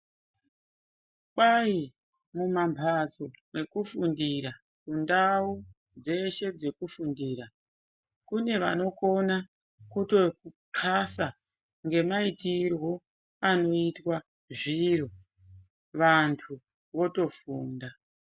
Kwai mumamhatso mwekufundira mundau dzeshe dzekufundira Kune vanokona kutokasa ngemaitirwo anoita zviro vantu votofunda.